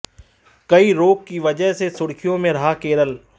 कई रोग की वजह से सुर्खियों में रहा केरल